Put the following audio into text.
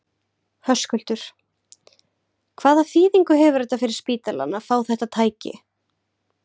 Höskuldur: Hvaða þýðingu hefur þetta fyrir spítalann að fá þetta tæki?